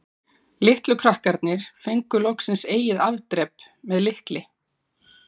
Litlu krakkarnir fengu loksins eigið afdrep- með lykli.